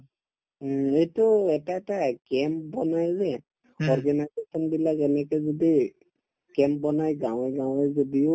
উম, এইটো এটা এটা এই camp বনাই যে organization বিলাক এনেকে যদি camp বনাই গাঁৱে গাঁৱে যদিও